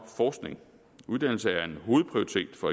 forskning uddannelse er en hovedprioritet for